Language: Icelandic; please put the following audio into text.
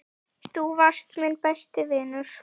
Þú varst minn besti vinur.